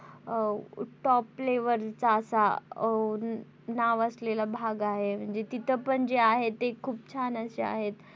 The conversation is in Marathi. अं top level चा असा आ नाव असलेला भाग आहे म्हणजे तिथं पण जे आहे ते खूप छान असे आहेत.